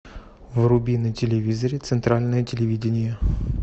вруби на телевизоре центральное телевидение